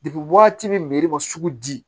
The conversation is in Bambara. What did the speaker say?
waati bɛ sugu di